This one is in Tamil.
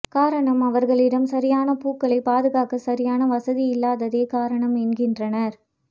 காரணம் அவர்களிடம் சரியான பூக்களை பாதுகாக்க சரியான வசதி இல்லாததே காரணம் என்கின்றனர்